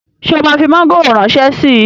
Ṣé o máa fi mọ́ngòrò ránṣẹ́ síi?